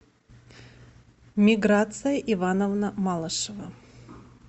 миграция ивановна малышева